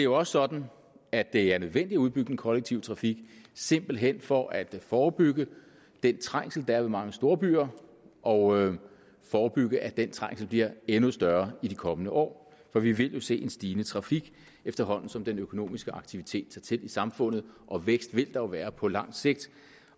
også sådan at det er nødvendigt at udbygge den kollektive trafik simpelt hen for at forebygge den trængsel der er ved mange storbyer og forebygge at den trængsel bliver endnu større i de kommende år for vi vil jo se en stigende trafik efterhånden som den økonomiske aktivitet tager til i samfundet og vækst vil der være på lang sigt